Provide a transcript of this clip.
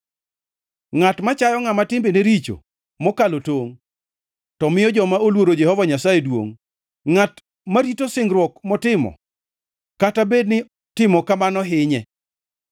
Ngʼat machayo ngʼama timbene richo mokalo tongʼ, to miyo joma oluoro Jehova Nyasaye duongʼ, Ngʼat marito singruok motimo kata bed ni timo kamano hinye,